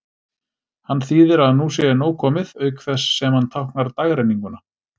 Hann þýðir að nú sé nóg komið, auk þess sem hann táknar dagrenninguna.